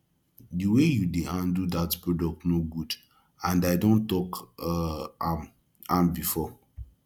the way you dey handle dat product no good and i don talk um am am before